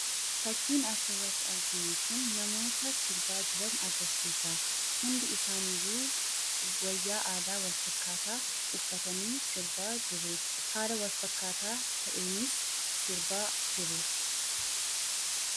Fakkiin as irratti arginuu kun namoota sirbaa jiraan agarsisa. Hundii isaa iyyuu wayaa aadaa wal fakkataa uffatani sirbaa jiru. Haala wal fakkataa ta'enis sirbaa jiru.